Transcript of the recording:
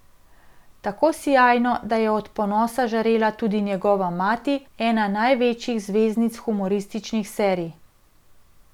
Tako sijajno, da je od ponosa žarela tudi njegova mati, ena največjih zvezdnic humorističnih serij.